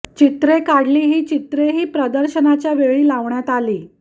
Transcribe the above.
चित्रे काढली ही चित्रेही प्रदर्शनाच्या वेळी लावण्यात आली